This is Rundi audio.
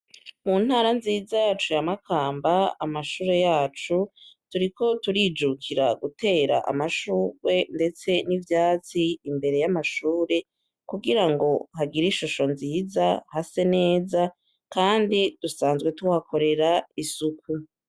Mu ntara nziza yacu yamakamba amashure yacu duriko turijukira gutera amashurwe, ndetse n'ivyatsi imbere y'amashure kugira ngo hagira ishusho nziza hase neza, kandi dusanzwe tuhakorera isuku.